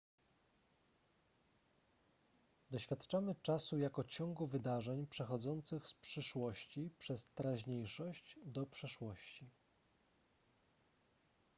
doświadczamy czasu jako ciągu wydarzeń przechodzących z przyszłości przez teraźniejszość do przeszłości